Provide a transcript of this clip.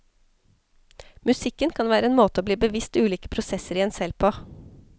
Musikk kan være en måte å bli bevisst ulike prosesser i en selv på.